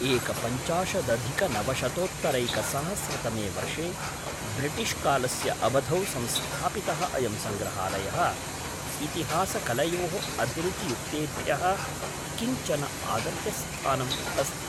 एकपञ्चाशदधिकनवशतोत्तरैकसहस्रतमे वर्षे ब्रिटिश्कालस्य अवधौ संस्थापितः अयं सङ्रहालयः इतिहासकलयोः अभिरुचियुक्तेभ्यः किञ्चन आदर्शस्थानम् अस्ति।